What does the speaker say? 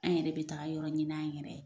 An yɛrɛ bɛ taa yɔrɔ ɲini an yɛrɛ ye.